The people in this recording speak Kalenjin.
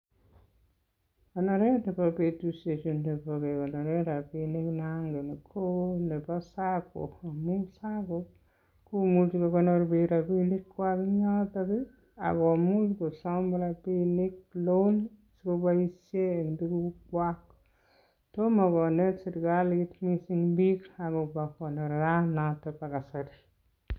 Koneret nebo betusiechu nebo kegoneren rabinik nongen, ko nebo SACCO amun SACCO komuchi kogonor biik rabinkwag en yoto. Ak komuch kosom rabinik loan asikoboishen en tugukwag. Tomo konet serkalit mising biiik agobo konoranoto bo kasari.